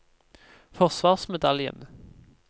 forsvarsmedaljen